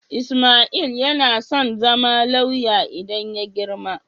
Ismail yana son zama lauya idan ya girma.